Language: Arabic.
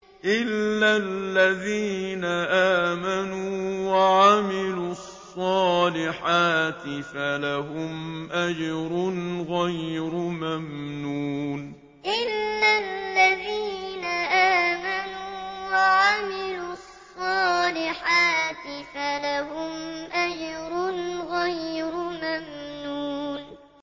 إِلَّا الَّذِينَ آمَنُوا وَعَمِلُوا الصَّالِحَاتِ فَلَهُمْ أَجْرٌ غَيْرُ مَمْنُونٍ إِلَّا الَّذِينَ آمَنُوا وَعَمِلُوا الصَّالِحَاتِ فَلَهُمْ أَجْرٌ غَيْرُ مَمْنُونٍ